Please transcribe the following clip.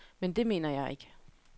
Men det mener jeg ikke.